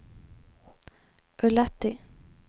Ullatti